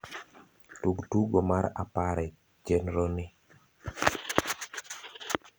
tug tugo mar apare e chenro ni